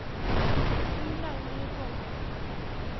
Runar Myrvold